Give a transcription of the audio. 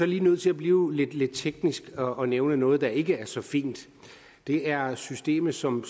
lige nødt til at blive lidt teknisk og nævne noget der ikke er så fint det er systemet som